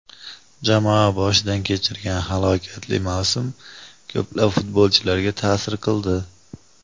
Jamoa boshidan kechirgan halokatli mavsum ko‘plab futbolchilariga ta’sir qildi.